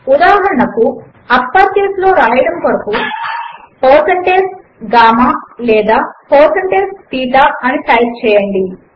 ఉదాహరణకు గామా అని upper case లో వ్రాయడము కొరకు160GAMMA లేదా 160THETA అని టైపు చేయండి